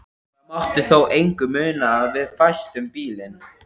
Það mátti þó engu muna að við festum bílinn.